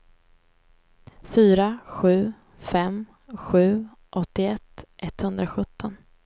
fyra sju fem sju åttioett etthundrasjutton